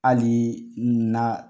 alii na